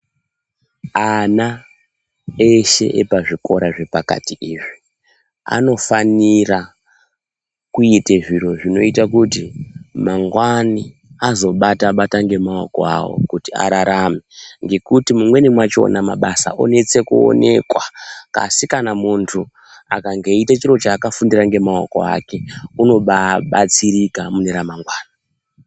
Ana eshe epazvikora zvepakati izvi ,anofanira kuite zviro zvinoita kuti mangwani azobata bata ngemaoko avo kuti ararame ngekuti mumweni machona mabasa onetse kuonekwa asi kana muntu akange echiite chinhu chaakafundire ngemaoko ake unobaabatsirika mune ramangwana .